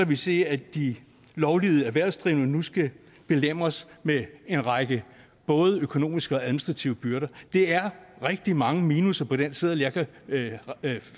vi se at de lovlydige erhvervsdrivende nu skal belemres med en række både økonomiske og administrative byrder det er rigtig mange minusser på den seddel jeg kan